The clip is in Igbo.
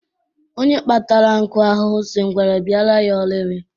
Onye kpatara nkụ ahụhụ, sị ngwere bịara ya ọlili